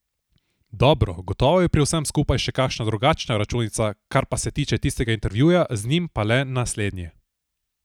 Dobro, gotovo je pri vsem skupaj še kakšna drugačna računica, kar pa se tiče tistega intervjuja, z njim pa le naslednje.